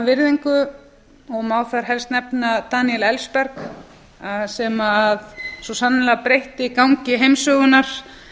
virðingu má þar helst nefna daniel ellsberg sem svo sannarlega breytti gangi heimssögunnar